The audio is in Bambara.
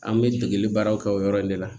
An bɛ degeli baaraw kɛ o yɔrɔ in de la